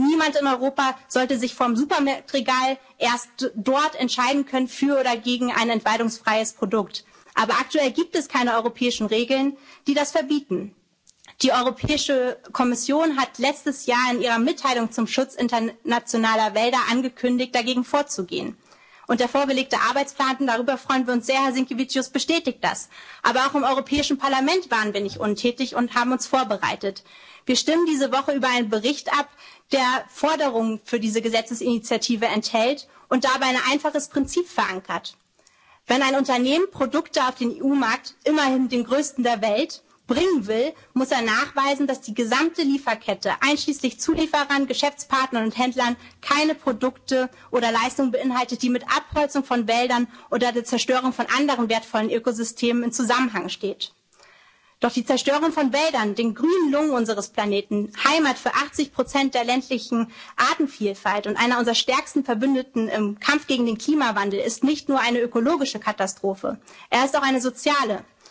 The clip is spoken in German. Entwaldung. Und niemand in Europa sollte sich erst vor dem Supermarktregal für oder gegen ein entwaldungsfreies Produkt entscheiden können, aber aktuell gibt es keine europäischen Regeln, die das verbieten. Die Europäische Kommission hat letztes Jahr in ihrer Mitteilung zum Schutz internationaler Wälder angekündigt, dagegen vorzugehen. Und der vorgelegte Arbeitsplan und darüber freuen wir uns sehr, Herr Sinkevičius, bestätigt das. Aber auch im Europäischen Parlament waren wir nicht untätig und haben uns vorbereitet. Wir stimmen diese Woche über einen Bericht ab, der Forderungen für diese Gesetzesinitiative enthält und dabei ein einfaches Prinzip verankert Wenn ein Unternehmen Produkte auf den EU-Markt immerhin den größten der Welt bringen will, muss es nachweisen, dass die gesamte Lieferkette, einschließlich Zulieferern, Geschäftspartnern und Händlern, keine Produkte oder Leistungen beinhaltet, die mit Abholzung von Wäldern oder der Zerstörung von anderen wertvollen Ökosystemen im Zusammenhang stehen. Doch die Zerstörung von Wäldern, den grünen Lungen unseres Planeten, Heimat für 80 der ländlichen Artenvielfalt und einer unserer stärksten Verbündeten im Kampf gegen den Klimawandel, ist nicht nur eine ökologische Katastrophe, sie ist auch